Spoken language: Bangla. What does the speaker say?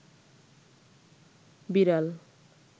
বিড়াল